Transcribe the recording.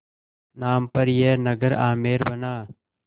नाम पर यह नगर आमेर बना